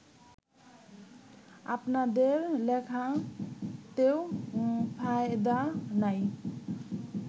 আপনাদের লেখাতেও ফায়দা নাই